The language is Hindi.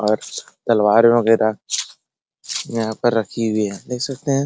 और तलवार वगेरा यहाँ पर रखी हुई है देख सकते हैं |